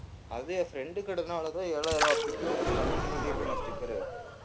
அது என் friend கடைனாலதான் ஏழாயிரம் ரூபாய் ஃபிட்ப்ரோ கஸ்டம் வண்டியில ஓட்டிருக்கேனே sticker உ